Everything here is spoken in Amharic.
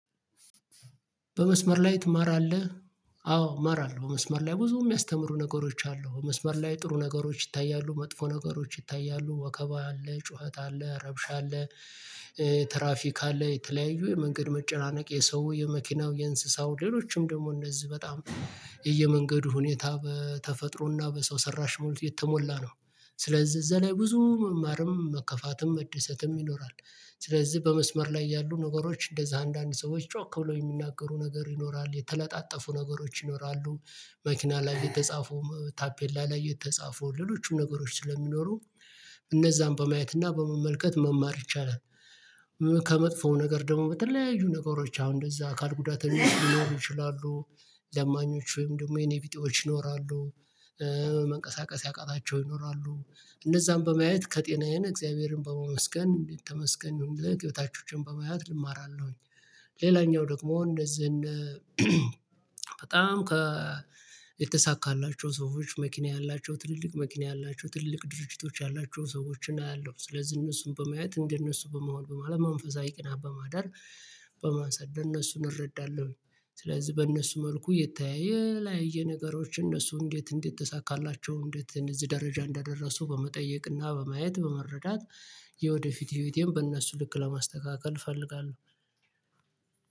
በመስመር ላይ ትማራለህ? አዎ ማራለሁ መስመር ላይ ብዙም የሚያስተምሩ ነገሮች አሉ መስመር ላይ ጥሩ ነገሮች ይታያሉ መጥፎ ነገሮች ይታያሉ ወከባ አለ ጩኸት አለ ረብሻ አለ ትራፊክ አለ የተለያዩ የመንገድ መጨናነቅ የሰው የመኪናው የእንስሳው ሌሎችም ደግሞ እነዚህ በጣም የየመንገዱ ሁኔታ በተፈጥሮና በሰው ሰራሽ ሙሉ የተሞላ ነው። ስለዚህ እዛ ላይ ብዙ መማርም መከፋትም መደሰትም ይኖራል ስለዚህ በመስመር ላይ ያሉ ነገሮች እንደዛ አንዳንድ ሰዎች ጮክ ብሎ የሚናገሩ ነገር ይኖራል የተለጣጠፉ ነገሮች ይኖራሉ፤ መኪና ላይ የተጻፉ ታፔላ ላይ የተጻፉ ሎሎችም ነገሮች ስለሚኖሩ እነዛን በማየት እና በመመልከት መማር ይቻላል፤ ከመጥፎ ነገር ደግሞ በተለያዩ ነገሮች አሁን እንደዛ አካል ጉዳተኞች ሊኖሩ ይችላሉ፤ ለማኞችም ደግሞ የኔ ቪጤዎች ይኖራሉ፤ መንቀሳቀስ ያቃታቸው ይኖራሉ እነዛን በማየት ከጤናዬን እግዚአብሔርን በመመስገን እንዴት ተመስገን የታቾችን በማያት እማራለሁኝ። ሌላኛው ደግሞ እንደዚህ እንደ በጣም ከ የተሳካላቸው ሰዎች መኪና ያላቸው ትልልቅ መኪና ያላቸው ትልልቅ ድርጅቶች ያላቸው ሰዎችን አያለሁ ስለዚህ እነሱን በማየት እንደነሱ በመሆን በማለት መንፈሳዊ ቅናት በማዳር በማሳደር እነሱን እረዳለሁኝ ስለዚህ በእነሱ መልኩ የተያየ ላይ የነገሮች እነሱ እንዴት እንዴት ተሳካላቸው እንዴት እዚህ ደረጃ እንዳደረሱ በመጠየቅና በማየት በመረዳት የወደፊት ህይወቴን በእነሱ ልክ ለማስተካከል እፈልጋለሁ።